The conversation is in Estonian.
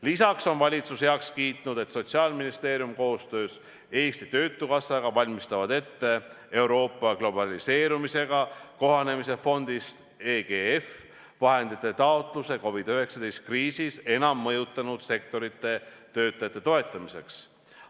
Lisaks on valitsus heaks kiitnud, et Sotsiaalministeerium koostöös Eesti Töötukassaga valmistavad ette Globaliseerumisega Kohanemise Euroopa fondist vahendite taotlemise COVID-19 kriisist enim mõjutatud sektorite töötajate toetamiseks.